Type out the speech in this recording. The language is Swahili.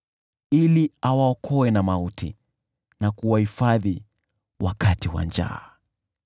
ili awaokoe na mauti, na kuwahifadhi wakati wa njaa.